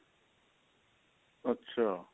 ਅੱਛਾ